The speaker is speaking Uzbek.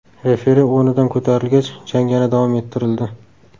Referi o‘rnidan ko‘tarilgach, jang yana davom ettirildi.